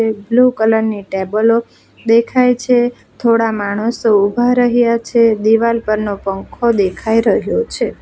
Blue colour ની ટેબલો દેખાય છે થોડા માણસો ઉભા રહ્યા છે દિવાલ પર નો પંખો દેખાય રહ્યો છે.